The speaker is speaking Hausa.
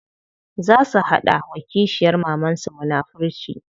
Za su hada wa kishiyar mamansu munafurci.